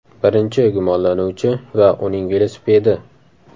Birinchi gumonlanuvchi va uning velosipedi.